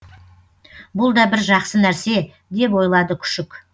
бұл да бір жақсы нәрсе деп ойлады күшік